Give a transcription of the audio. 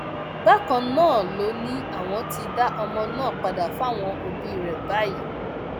bákan náà ló ní àwọn ti dá ọmọ náà padà fáwọn òbí rẹ báyìí